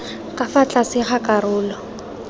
ka fa tlase ga karolo